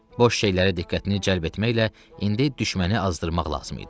Boş şeylərə diqqətini cəlb etməklə indi düşməni azdırmaq lazım idi.